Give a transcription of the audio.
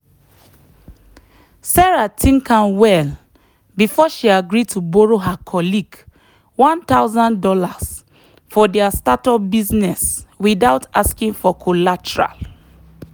sarah think am well before she agree to borrow her colleague one thousand dollars for their startup business without asking for collateral.